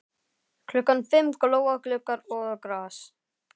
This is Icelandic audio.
Klukkan fimm glóa gluggar og gras.